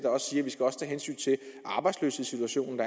arbejdsløshedssituation